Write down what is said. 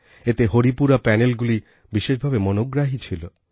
এতে হরিপুরা প্যানেলগুলি বিশেষ ভাবে মনোগ্রাহী ছিল